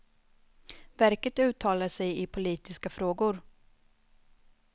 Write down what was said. Verket uttalar sig i politiska frågor.